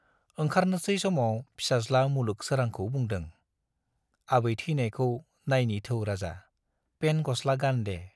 ओंखारनोसै समाव फिसाज्ला मुलुग सोरांखौ बुंदों, आबै ठैनायखौ नायनि थौ राजा, पेन्ट गस्ला गान दे।